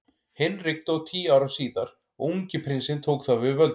Hinrik dó tíu árum síðar og ungi prinsinn tók þá við völdum.